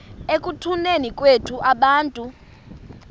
ekutuneni kwethu abantu